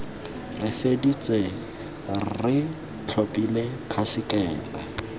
re feditse re tlhophile khasekete